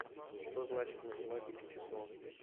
что значит в математике число